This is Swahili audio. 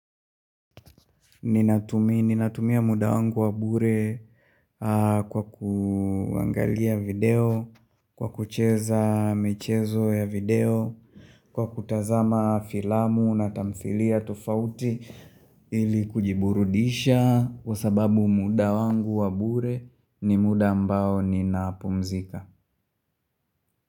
Ninatumia muda wangu wabure kwa kuangalia video, kwa kucheza michezo ya video, kwa kutazama filamu na tamdhilia tofauti ili kujiburudisha kwa sababu muda wangu wabure ni muda ambao ni napumzika.